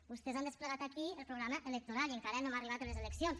vostès han desplegat aquí el programa electoral i encara no hem arribat a les eleccions